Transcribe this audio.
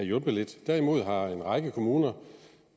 hjulpet lidt derimod har en række kommuner